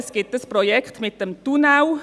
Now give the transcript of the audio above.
Es gibt dieses Projekt mit dem Tunnel.